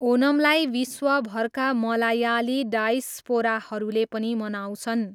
ओनमलाई विश्वभरका मलायाली डायस्पोराहरूले पनि मनाउँछन्।